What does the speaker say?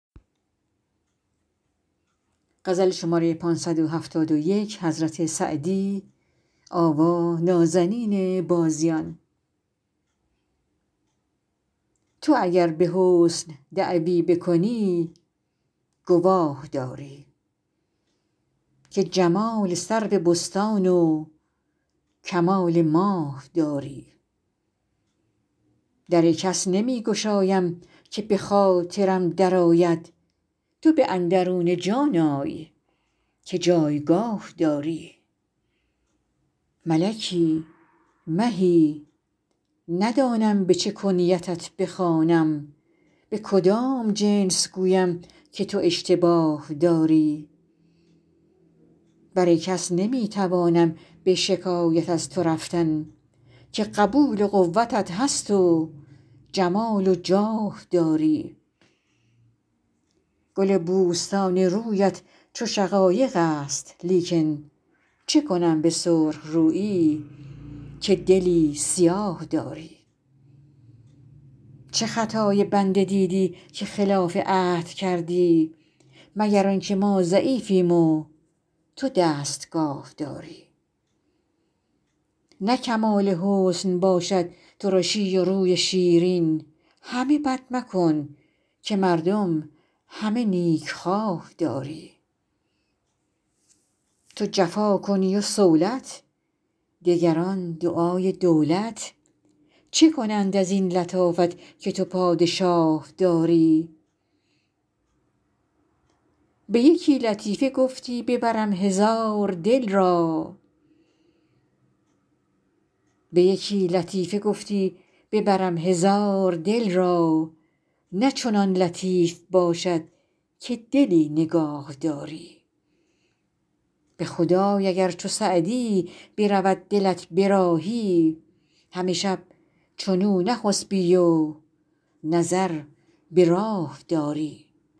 تو اگر به حسن دعوی بکنی گواه داری که جمال سرو بستان و کمال ماه داری در کس نمی گشایم که به خاطرم درآید تو به اندرون جان آی که جایگاه داری ملکی مهی ندانم به چه کنیتت بخوانم به کدام جنس گویم که تو اشتباه داری بر کس نمی توانم به شکایت از تو رفتن که قبول و قوتت هست و جمال و جاه داری گل بوستان رویت چو شقایق است لیکن چه کنم به سرخ رویی که دلی سیاه داری چه خطای بنده دیدی که خلاف عهد کردی مگر آن که ما ضعیفیم و تو دستگاه داری نه کمال حسن باشد ترشی و روی شیرین همه بد مکن که مردم همه نیکخواه داری تو جفا کنی و صولت دگران دعای دولت چه کنند از این لطافت که تو پادشاه داری به یکی لطیفه گفتی ببرم هزار دل را نه چنان لطیف باشد که دلی نگاه داری به خدای اگر چو سعدی برود دلت به راهی همه شب چنو نخسبی و نظر به راه داری